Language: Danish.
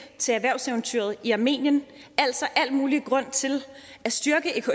til erhvervseventyret i armenien altså al mulig grund til at styrke